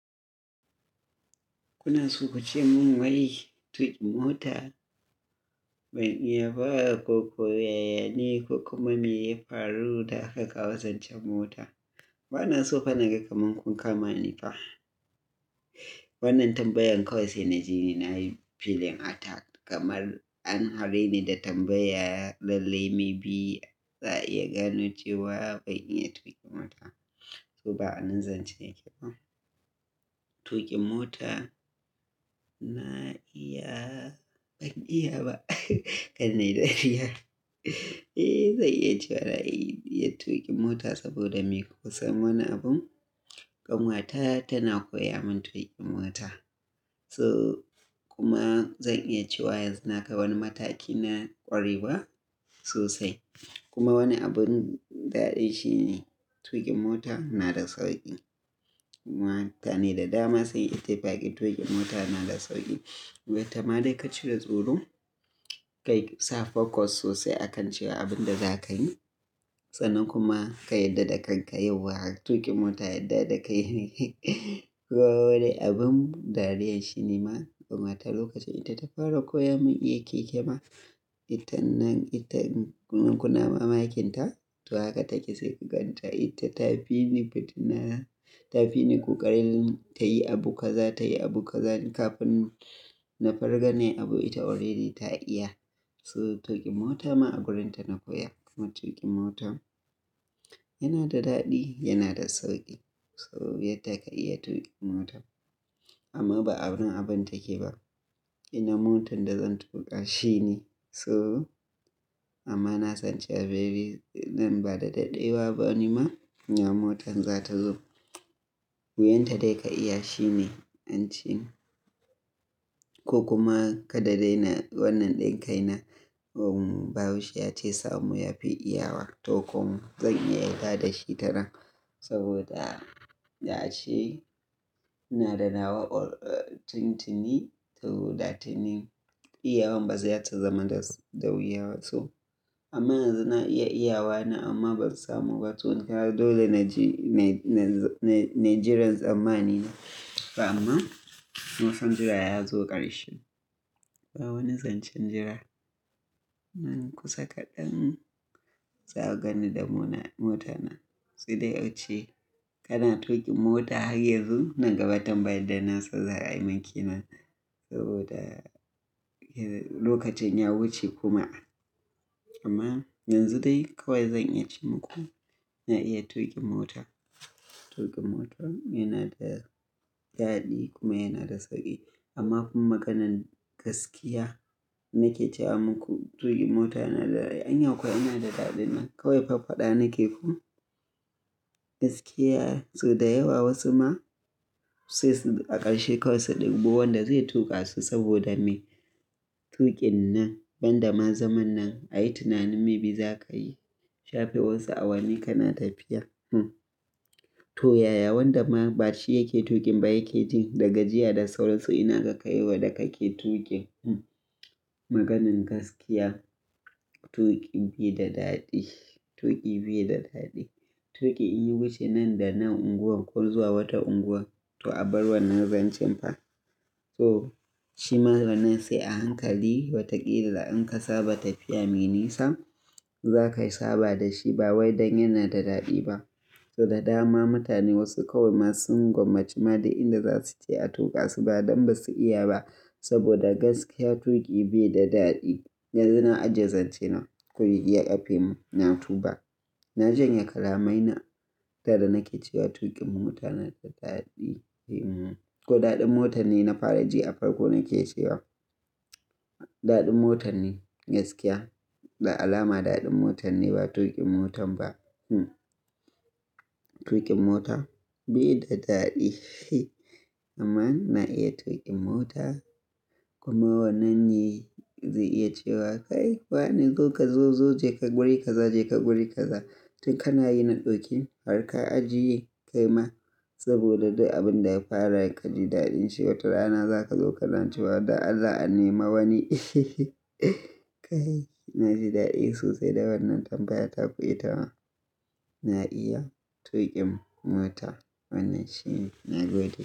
Inason acemin wai tukin mota. Ban iya ba ko koyaya ne ko kuma me ya faru da aka kawo zancen mota. Bana so fa na ga kamar kun kama ni ne fa. Wannan tambayan kawai sai naji na yi feeling attack kamar an hare ni da tambaya lalle, maybe za a iya gano cewa ban iya tuƙi mota. Koba anan zance ba tuƙi mota na iya, ban iya ba kar nai dariya. Zai iya cewa na iya tuƙi mota saboda me kusa wani abun, kan wata tana koya mun tuƙin mota. So kuma zan iya cewa yanxu nakai wani mataki na ƙwarewa sosai. Kuma wani abun daɗi shine tuƙin mota na da sauƙi. Kuma mutane da dama sun yi ta fakin tuƙin mota na da sauƙi. Ballenta ma dai ka cire tsoro, ka yi sa focus sosai akan cewa abin da za ka yi. Sanan kuma ka yarda da kanka yauwa tuƙin mota yarda da kai ne. Wai abin dariya shine ma, kan wata lokacin ita ta fara koya mun iya keke ma, ita nan ita kuna mamakin ta to haka take sai ka gan ta. Ita ta fi ni fitina, ta fi ni ƙoƙarin tayi abu kaza tayi abu kaza kafin na fargane abu ita already ta iya. So tuƙi mota ma a wurinta na koya. Kuma tuƙin motan yana da daɗi, yana da sauƙi. Sabo ya taka iya tuƙi mota amma ba agurin abun take ba. Ina motan da zan tuƙa shine. So amma na san cewa baby idan ba da daɗewa ba ni ma, nawa motar za ta zo. Wuyan ta dai ka iya shine, an ci. Ko kuma ka da dai na wannan dinkin na, um, bayus ya ce samu yafi iyawa to kuma zan iya yarda da shi tanan. Saboda ya ce ina da nawa or tun tuni saboda tunin iyawan baza su zama da wuyaba to. Amma yanxu naiya iyawa na amma ba samu ba to kaga dole nai jiran tsamani to amma, mun san jira yazo ƙarshe. Ba wani zancen jira. Nan kusa kaɗan za ku gani da muna na mota na. Sai dai a ce kana tuƙi mota har yanzu nan gaba tambaya da na san za a yi min kina. Saboda lokacin ya wuce kuma. Amma yanzu dai kawai zan iya ce muku na iya tuƙin mota. Tuƙin mota yana da daɗi kuma yana da sauƙi. Amma fa maganan gaskiya nake cewa muku tuƙi mota yana da, an ya kwa yana da daɗi nan kawai fafada nake ku. Gaskiya so da yawa wasu ma sai su, a ƙarshe kawai su ɗibbo wanda zai tuƙa su saboda me? Waennan yanda ma zaman nan ayi tunanin shafe wasu awanni kana tafiya, hm. To yaya wanda ma bashi yake tuƙin ba yake jin daga jiya da saura su ina ga kai wan da kake tuƙi, hm. Maganan gaskiya tuƙi bai da daɗi, tuƙi bai da daɗi. Tuƙi in yi wuce nan da nan unguwar ko zuwa wata unguwa to abar wannan zancen fa. So shi ma wannan se a hankali watakila in ka saba tafiya me nisa, za ka saba da shi ba wai dan yana da daɗi ba. So da dama mutane wasu kawai masu gwammaci ma da inda za su je a tuƙa su ba don basu iya ba. Saboda gaskiya tuƙi bai da daɗi. Yanzu na ajiye zancen na, ku iya yafe mu, na tuba. Na janye kalamai na da da nake cewa tuƙin mota yana da daɗi. Ko daɗin mota ne na fara ji a farko nake cewa. Daɗin mota ne gaskiya. Da alama daɗin mota ne ba tuƙin mota ba, hm. Tuƙin mota bai da daɗi amma na iya tuƙin mota. Kuma wannan yanzu iya cewa kai fa ne zo ka zo zo je ka guri ka za je ka guri ka za. Tun kana yi na ɗauki har ka ajiye kai ma. Saboda da du abin da ya faru ka ji daɗin shi wata rana za ka zo ka na cewa dan Allah a nema wani. Eh, na ji daɗi sosai da wannan tambaya ta ku ita ma. Na iya tuƙin mota wannan shine na gode.